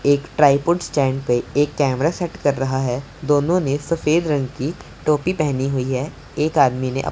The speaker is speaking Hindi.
एक ट्राइपॉड स्टैंड पे एक कैमरा सेट कर रहा है दोनों ने सफेद रंग की टोपी पहनी हुई है एक आदमी ने--